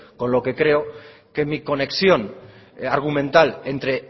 con lo que creo que mi conexión argumental entre